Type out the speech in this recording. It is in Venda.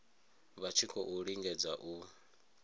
vha tshi khou lingedza u